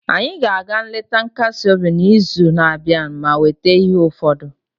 anyị ga-aga nleta nkasi obi n'izu na-abịa ma weta ihe ụfọdụ